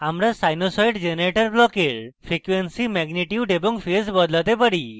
আমরা sinusoid generator ব্লকের frequency magnitude এবং phase বদলাতে পারি